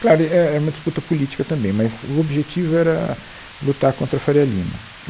Claro, era uma disputa política também, mas o objetivo era lutar contra a Faria Lima.